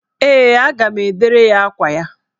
Ee, a ga m edere ya akwa ya.